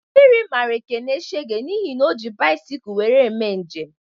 Mmiri mara Ekene shege n'ihi na o ji bisikul wéré eme njem